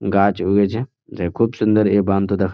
গাছ উগেছে যে খুব সুন্দর এই বান্ধ দেখ--